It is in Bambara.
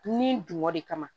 Dunni dun de kama